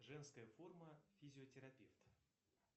женская форма физиотерапевт